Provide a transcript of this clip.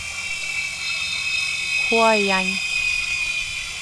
хуайань